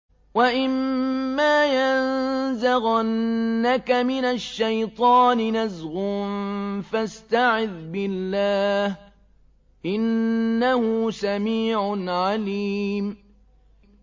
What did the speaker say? وَإِمَّا يَنزَغَنَّكَ مِنَ الشَّيْطَانِ نَزْغٌ فَاسْتَعِذْ بِاللَّهِ ۚ إِنَّهُ سَمِيعٌ عَلِيمٌ